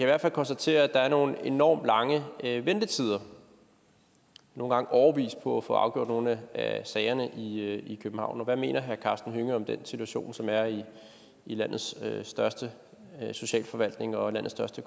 hvert fald konstatere at der er nogle enormt lange ventetider nogle gange årevis på at få afgjort nogle af sagerne i københavn hvad mener herre karsten hønge om den situation som der er i landets største socialforvaltning og landets største